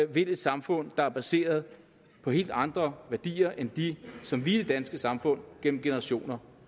vil et samfund der er baseret på helt andre værdier end de som vi i det danske samfund gennem generationer